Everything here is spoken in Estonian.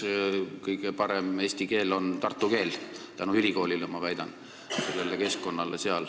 Ma väidan, et kõige parem eesti keel on Tartu keel tänu ülikoolile ja sealsele keskkonnale.